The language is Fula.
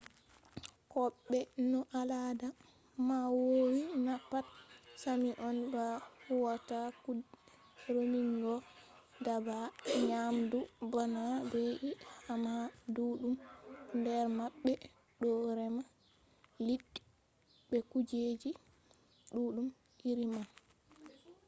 ko be no alada man woowi na pat sami on ba huwata kuɗe remugo daabba nyamdu bana be’i amma ɗuɗɗum nder maɓɓe ɗo rema liɗɗi be kujeji ɗuɗɗum iri man